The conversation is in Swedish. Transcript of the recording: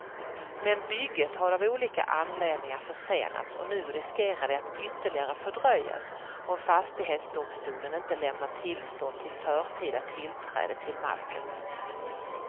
Men bygget har av olika anledningar försenats och nu riskerar det att ytterligare fördröjas om fastighetsdomstolen inte lämnar tillstånd till förtida tillträde till marken.